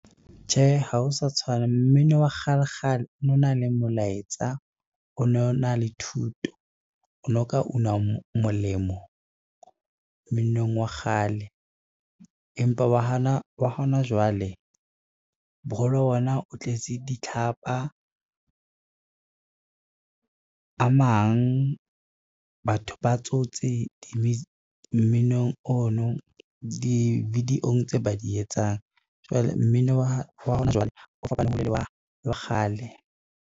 Tjhe, ha ho sa tshwana, mmino wa kgale kgale o no na le molaetsa, o no na le thuto, o no ka una molemo mminong wa kgale. Empa wa hona jwale, boholo ba ona o tletse ditlhapa, a mang batho ba tsotse mminong ono di-video-ng tseo ba di etsang. Jwale mmino wa hona jwale o fapane hole le wa kgale.